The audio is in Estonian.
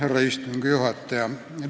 Härra istungi juhataja!